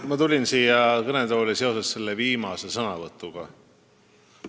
Ma tulin siia kõnetooli seoses viimase sõnavõtuga.